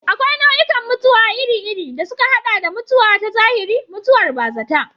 Akwai nau'ikan mutuwa iri-iri, da suka haɗa da mutuwa ta zahiri, mutuwar bazata.